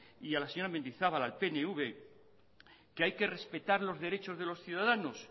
y a la señora mendizabal al pnv que hay que respetar los derechos de los ciudadanos